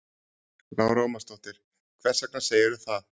Lára Ómarsdóttir: Hvers vegna segirðu það?